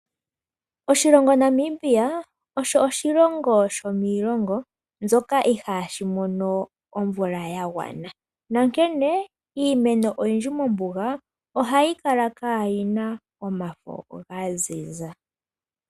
Oshilongo Namibia osho oshilongo shomiilongo mbyoka ihaayi mono omvula ya gwana, onkene iimeno oyindji mombuga ohayi kala kaayi na omafo ga ziza.